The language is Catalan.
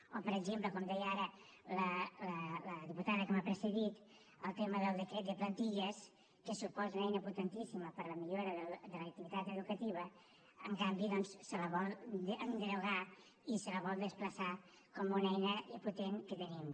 o per exemple com deia ara la diputada que m’ha precedit el tema del decret de plantilles que suposa una eina potentíssima per a la millora de l’activitat educativa en canvi doncs se la vol derogar i se la vol desplaçar com una eina impotent que tenim